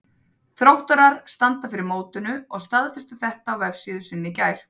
Þróttarar standa fyrir mótinu og staðfestu þetta á vefsíðu sinni í gær.